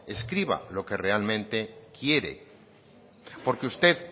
escriba lo que realmente quiere porque usted